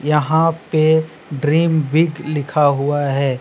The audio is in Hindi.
यहां पे ड्रीम बिग लिखा हुआ है।